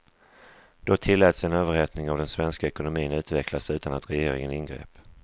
Då tilläts en överhettning av den svenska ekonomin utvecklas utan att regeringen ingrep.